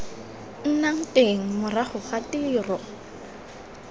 nnang teng morago ga tiro